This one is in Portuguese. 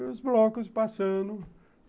E os blocos passando.